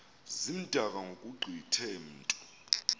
zimdaka ngokugqithe mntu